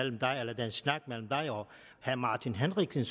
herre martin henriksen